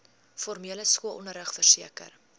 formele skoolonderrig verseker